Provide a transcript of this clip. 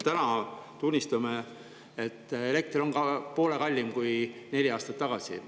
Täna, tunnistame, on elekter poole kallim kui neli aastat tagasi.